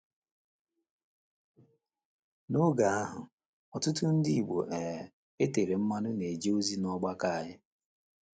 N’oge ahụ, ọtụtụ Ndị Igbo um e tere mmanụ na - eje ozi n’ọgbakọ anyị.